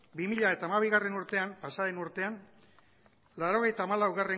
bi mila hamabigarrena urtean pasa den urtean laurogeita hamalau